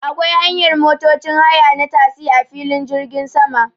Akwai hanyar motocin haya na tasi a filin jirgin sama